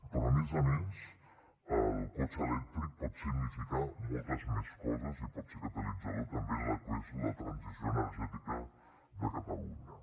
però a més a més el cotxe elèctric pot significar moltes més coses i pot ser catalitzador també en el que és la transició energètica de catalunya